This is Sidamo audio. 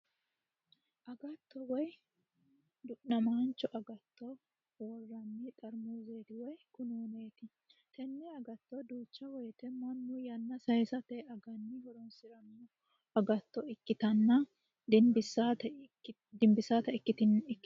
Agatto woy du'namaancho agatto worranni xarmuzeet woy kununeeti tenne agatto duucha woyte mannu yanna saaysate aganni horoonsiranno agatto ikkitanna dinbisate akatino noose.